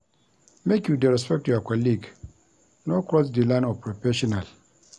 Make you dey respect your colleague, no cross di line of prefessional.